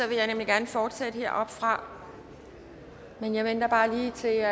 vil jeg gerne fortsætte heroppefra men jeg venter lige til